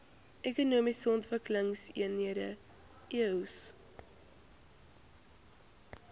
ekonomiese ontwikkelingseenhede eoes